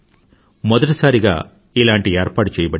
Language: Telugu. మొదటిసారిగా ఇలాంటి ఏర్పాటు చేయబడింది